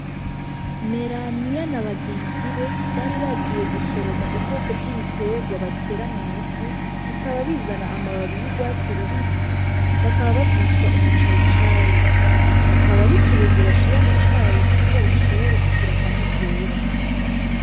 Meraniyabna bagenzi be bari bagiye gusoroma ubwoko bw'ibitegwa batera mw'ivu bikaba bizana amababi y'urwatsi rubisi bakaba bavyitwa umucayicayi. Akaba ari ikirungo bashira mu cayi kugira gishibore kugira akanovera.